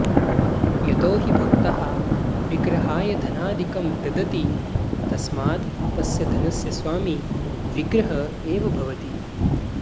यतो हि भक्ताः विग्रहाय धनादिकं ददति तस्मात् तस्य धनस्य स्वामी विग्रह एव भवति